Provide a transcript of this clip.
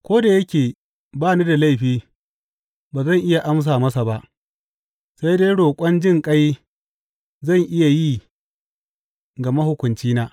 Ko da yake ba ni da laifi, ba zan iya amsa masa ba; sai dai roƙon jinƙai zan iya yi ga mahukuncina.